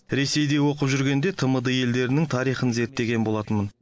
ресейде оқып жүргенде тмд елдерінің тарихын зерттеген болатынмын